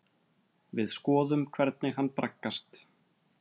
Við skoðum hvernig hann braggast.